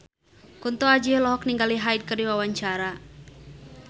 Kunto Aji olohok ningali Hyde keur diwawancara